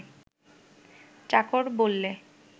চাকর বললে